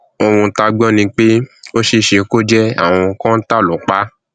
ohun tá a gbọ ni pé ó ṣeé ṣe kó jẹ àrùn kọńtà ló pa á